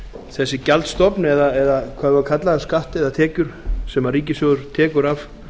þessi gjaldstofn eða hvað við eigum að kalla það skatt eða tekjur sem ríkissjóður tekur af